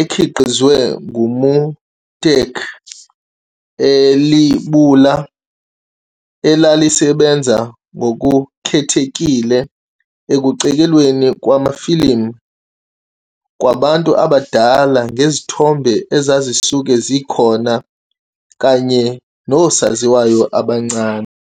ekhiqizwe nguMuteki, ilebula elalisebenza ngokukhethekile ekucekelweni kwamafilimu kwabantu abadala ngezithombe ezazisuke zikhona kanye nosaziwayo abancane.